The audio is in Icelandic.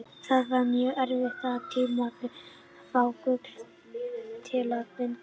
Það var mjög erfitt og tímafrekt að fá gullið til að bindast járninu.